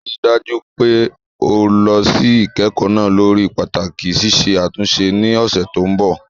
Rí i dájú pé o lọ sí ìkẹ́kọ̀ọ́ náà lórí pàtàkì ṣíṣe àtúnṣe ní ọ̀sẹ̀ tó ń bọ̀.